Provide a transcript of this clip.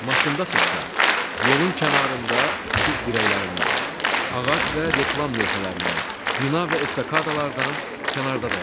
Maşındasınızsa, yolun kənarında işıq dirəklərindən, ağac və reklam lövhələrindən, bina və estakadalardan kənarda dayanın.